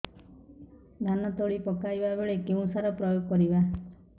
ଧାନ ତଳି ପକାଇବା ବେଳେ କେଉଁ ସାର ପ୍ରୟୋଗ କରିବା